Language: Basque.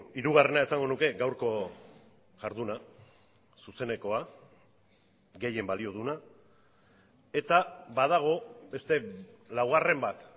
hirugarrena esango nuke gaurko jarduna zuzenekoa gehien balio duena eta badago beste laugarren bat